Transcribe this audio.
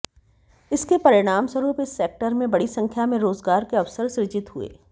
इसके परिणामस्वरूप इस सेक्टर में बड़ी संख्या में रोजगार के अवसर सृजित हुए